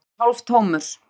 Vagninn var hálftómur.